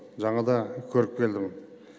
жаңада көріп келдім